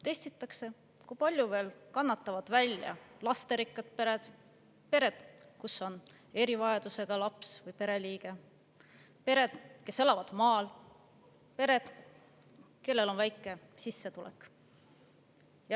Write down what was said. Testitakse, kui palju kannatavad veel välja lasterikkad pered; pered, kus on erivajadusega laps või pereliige; pered, kes elavad maal; ja pered, kellel on väike sissetulek.